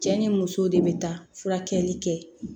Cɛ ni muso de bɛ taa furakɛli kɛ